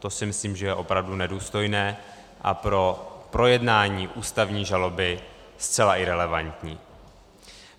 To si myslím, že je opravdu nedůstojné a pro projednání ústavní žaloby zcela irelevantní.